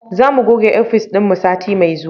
Za mu goge ofis dinmu sati mai zuwa